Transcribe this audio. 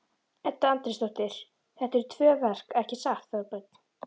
Edda Andrésdóttir: Þetta eru tvö verk ekki satt Þorbjörn?